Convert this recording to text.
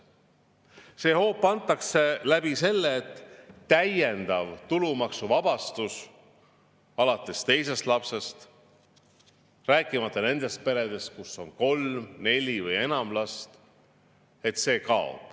See hoop antakse sellega, et kaob täiendav tulumaksuvabastus alates teisest lapsest, rääkimata nendest peredest, kus on kolm, neli või enam last.